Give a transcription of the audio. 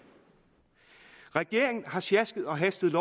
regeringen har sjasket og hastet